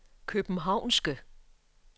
københavnske